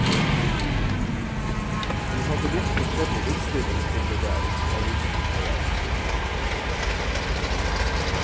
Vi hadde litt forskjellig innstilling til det der, avisen og jeg.